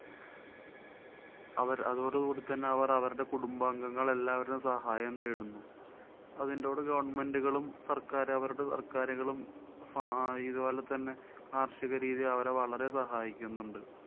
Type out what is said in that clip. അവര്‍ അതോടുകൂടെ തന്നെ അവര്‍ അവരുടെ കുടുംബാംഗങ്ങള്‍ എല്ലാവരും സഹായം തേടുന്നു. അതിന്‍ടൂടെ government കളും സര്‍ക്കാര്~ അവരുടെ സര്‍ക്കാരുകളും ആ~ ഇതുപോലെത്തന്നെ കാര്‍ഷിക രീതിയില്‍ വളരെ സഹായിക്കുന്നുണ്ട്.